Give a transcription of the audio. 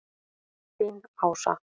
Þín, Ása.